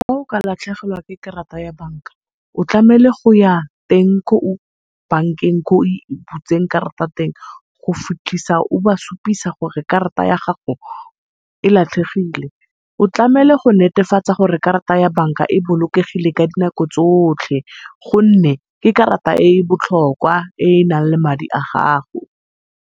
Fa o ka lathlegelwa ke karata ya bank-a o tlamehile goya teng ko bankeng ko o e butseng karata teng, go fitlhisa o ba supisa gore karata ya gago e latlhegile. O tlamehile go netefatsa karata ya bank-a e bolokegile ka dinako tsotlhe gone ke karata e e botlhokwa e enang le madi a gago.